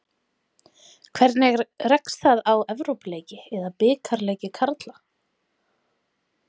Hvernig rekst það á Evrópuleiki eða bikarleiki karla?